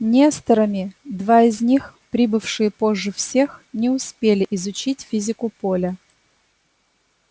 несторами два из них прибывшие позже всех не успели изучить физику поля